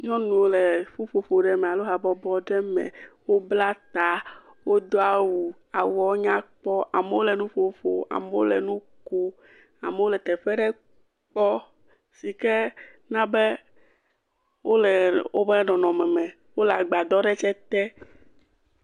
nyɔnuwo le ƒuƒoƒo me alo habɔbɔ aɖe me wó bla ta wó dó awu awuawo nya kpɔ amowo le nuƒo ƒom amowo le nukom amewo le teƒeɖe kpɔ sike nabe wóle wobe nɔnɔme me wóle gbadɔ ɖe tsɛ te